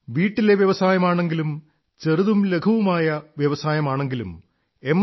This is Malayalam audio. വീട്ടിലെ വ്യവസായമാണെങ്കിലും ചെറുതും ലഘുവുമായ വ്യവസായമാണെങ്കിലും എം